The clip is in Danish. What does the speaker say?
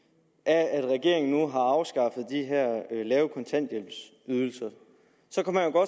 af at regeringen nu har afskaffet de her lave kontanthjælpsydelser så kan man